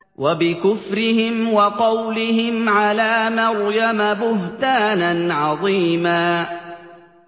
وَبِكُفْرِهِمْ وَقَوْلِهِمْ عَلَىٰ مَرْيَمَ بُهْتَانًا عَظِيمًا